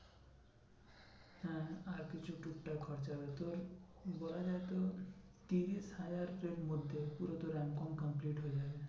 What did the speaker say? হ্যাঁ আর কিছু টুক টাক খরচা হবে তোর, বলা যায় তোর ত্রিশ হাজার মধ্যে পুরো তোর complete হয়ে যাবে,